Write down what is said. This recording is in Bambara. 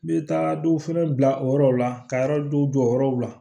N bɛ taa dɔw fɛnɛ bila o yɔrɔw la ka dɔw jɔ yɔrɔw la